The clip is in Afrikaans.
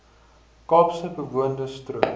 kaapse bewoonde strook